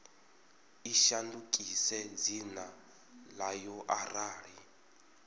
i shandukise dzina ḽayo arali